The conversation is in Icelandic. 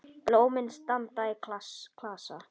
Blómin standa í klasa.